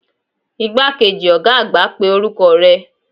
Igbakeji oga agba pe oruko re